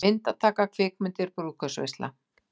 MYNDATAKA, KVIKMYNDIR, BRÚÐKAUPSVEISLA